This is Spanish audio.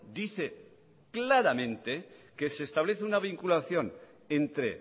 dice claramente que se establece una vinculación entre